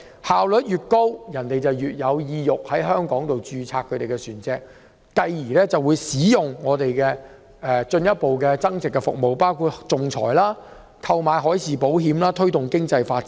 效率越高，便越能吸引船東在香港註冊其船隻，繼而進一步使用香港的增值服務，包括仲裁和海事保險，從而推動經濟發展。